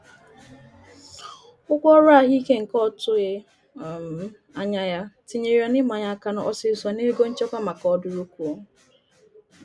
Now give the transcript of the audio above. Ụgwọ ọrụ ahụike nke otughi um anya ya tinyere ya n'imanye aka ọsịsọ n'ego nchekwa maka ọdụrụkụọ.